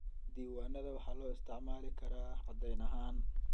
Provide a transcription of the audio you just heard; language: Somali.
Diiwaanada waxaa loo isticmaali karaa caddayn ahaan.